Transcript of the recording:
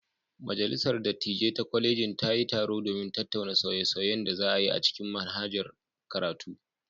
Majalisar dattijai ta kwalejin ta yi taro domin tattauna sauye-sauyen da za a yi a cikin manhajar karatu.